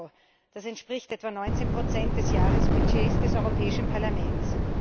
EUR, das entspricht etwa 19 des Jahresbudgets des Europäischen Parlaments.